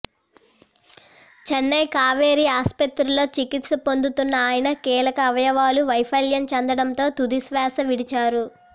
చెన్నై కావేరీ ఆస్పత్రిలో చికిత్స పొందుతున్న ఆయన కీలక అవయవాలు వైఫల్యం చెందడంతో తుదిశ్వాస విడిచారు